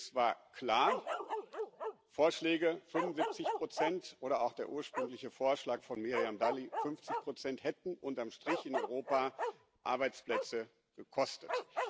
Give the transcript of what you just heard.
Das Ergebnis war klar Vorschläge für 75 oder auch der ursprüngliche Vorschlag von Miriam Dalli für 50 Prozent hätten unterm Strich in Europa Arbeitsplätze gekostet.